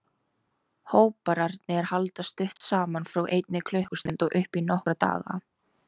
Hóparnir halda stutt saman, frá einni klukkustund og upp í nokkra daga.